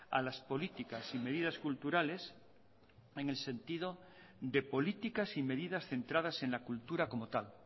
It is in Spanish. a las políticas y medidas culturales en el sentido de políticas y medidas centradas en la cultura como tal